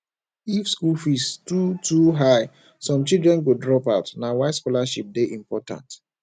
if school fees too too high some children go drop out na why scholarship dey important